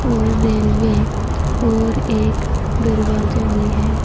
और रेलवे और एक दरवाजा भी है।